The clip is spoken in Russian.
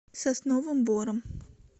сосновым бором